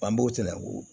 An b'o cɛlaw